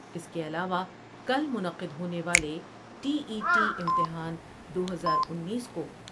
اس کے علاوہ کل منعقد ہونے والے ٹی ای ٹی امتحان دو ہزار انیس کو ۔